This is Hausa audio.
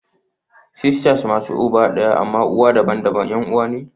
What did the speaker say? Sisters masu uba ɗaya amma uwa daban-daban 'yan uwa ne